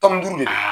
Tɔnni duuru de